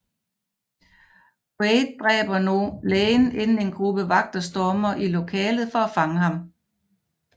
Quaid dræber lægen inden en gruppe vagter stormer i lokalet for at fange ham